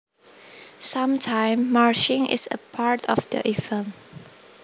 Sometimes marching is a part of the event